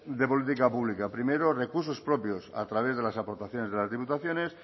de política pública primero recursos propios a través de las aportaciones de las diputaciones